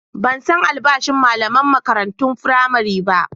Ban san albashin malaman makarantun firamare ba.